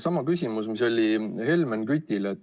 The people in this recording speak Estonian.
Sama küsimus, mis oli Helmen Kütil.